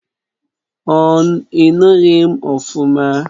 Ọ inughi m ofuma?